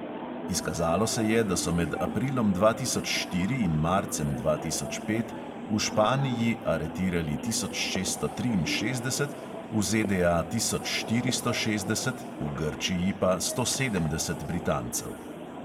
Izkazalo se je, da so med aprilom dva tisoč štiri in marcem dva tisoč pet v španiji aretirali tisoč šeststo triinšestdeset, v ZDA tisoč štiristo šestdeset, v grčiji pa sto sedemdeset britancev.